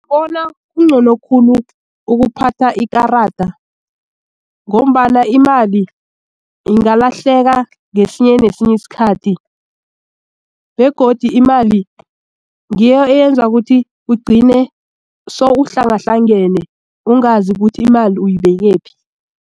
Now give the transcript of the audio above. Bona kungcono khulu ukuphatha ikarada ngombana imali ingalahleka ngesinye nesinye isikhathi begodu imali ngiyo eyenza ukuthi ugcine sowuhlangahlangane ungazi ukuthi imali uyibekephi.